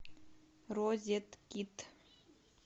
розеткед